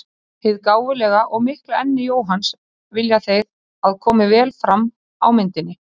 Hið gáfulega og mikla enni Jóhanns vilja þeir að komi vel fram á myndinni.